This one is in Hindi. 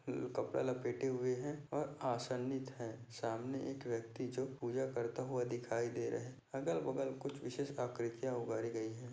कपड़ा लपेटे हुए है और आसनित है सामने इक व्यक्ति जो पूजा करता हुआ दिखाई दे रहे है अगल बगल कुछ विशेष आकृतीया उभारी गयी है।